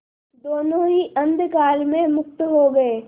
दोेनों ही अंधकार में मुक्त हो गए